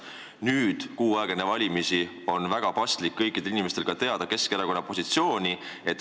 Nüüd, kuu aega enne valimisi, on väga paslik kõikidele inimestele teada anda Keskerakonna positsioon.